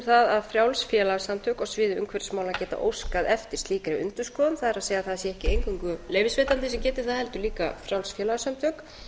það að frjáls félagasamtök á sviði umhverfismála geta óskað eftir slíkri endurskoðun það er að það sé ekki eingöngu leyfisveitandi sem geti það heldur líka frjáls félagasamtök